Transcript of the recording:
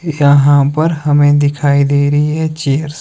यहां पर हमे दिखाई दे रही हैं चेयर्स ।